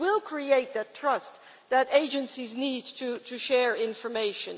It will create the trust that agencies need to share information.